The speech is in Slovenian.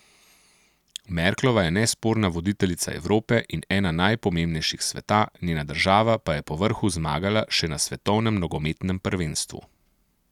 Merklova je nesporna voditeljica Evrope in ena najpomembnejših sveta, njena država pa je povrhu zmagala še na svetovnem nogometnem prvenstvu.